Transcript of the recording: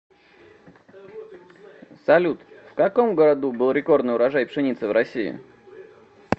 салют в каком году был рекордный урожай пшеницы в россии